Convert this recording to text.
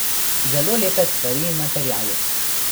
Zelo lepe stvari in materiali.